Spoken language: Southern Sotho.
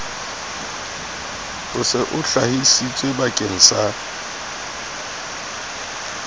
o se o hlahisitswebakeng sa